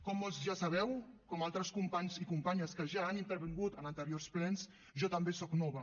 com molts ja sabeu com altres companys i companyes que ja han intervingut en anteriors plens jo també soc nova